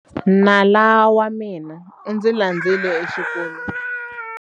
Nala wa mina u ndzi landzile exikolweni.